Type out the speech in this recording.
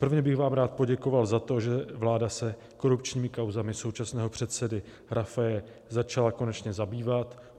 Prvně bych vám rád poděkoval za to, že vláda se korupčními kauzami současného předsedy Rafaje začala konečně zabývat.